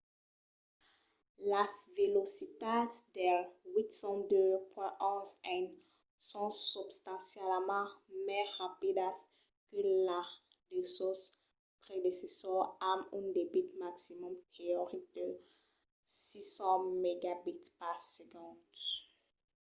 las velocitats del 802.11n son substancialament mai rapidas que la de sos predecessors amb un debit maximum teoric de 600mbit/s